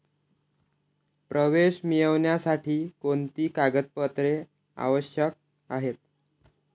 प्रवेश मिळवण्यासाठी कोणती कागदपत्रे आवश्यक आहेत?